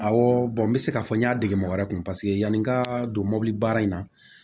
Awɔ bɔn n bɛ se k'a fɔ n y'a dege mɔgɔ wɛrɛ kun paseke yani n ka don mɔbili baara in na